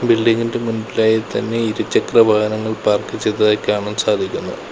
ബിൽഡിംഗിൻ്റെ മുൻപിലായി തന്നെ ഇരുചക്ര വാഹനങ്ങൾ പാർക്ക് ചെയ്തതായി കാണാൻ സാധിക്കുന്നു.